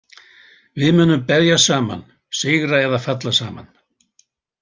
Við munum berjast saman, sigra eða falla saman.